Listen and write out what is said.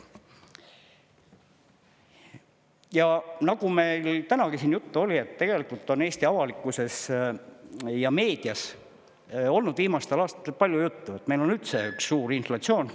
Ja nagu tänagi siin juttu oli, tegelikult on Eesti avalikkuses ja meedias olnud viimastel aastatel palju juttu, et meil on üldse üks suur inflatsioon.